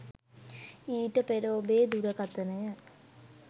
ඊට පෙර ඔබේ දුරකතනය